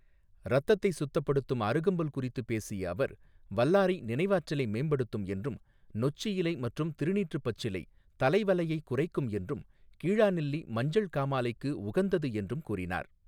ரத்தத்தை சுத்தப்படுத்தும் அருகம்புல் குறித்து பேசிய அவர், வல்லாரை நினைவாற்றலை மேம்படுத்தும் என்றும், நொச்சி இலை மற்றும் திருநீற்று பச்சிலை தலைவலையை குறைக்கும் என்றும், கீழாநெல்லி மஞ்சள் காமாலைக்கு உகந்தது என்றும் கூறினார்.